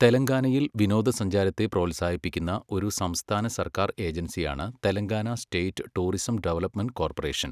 തെലങ്കാനയിൽ വിനോദസഞ്ചാരത്തെ പ്രോത്സാഹിപ്പിക്കുന്ന ഒരു സംസ്ഥാന സർക്കാർ ഏജൻസിയാണ് Telangana state tourism development corporation.